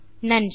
நன்றி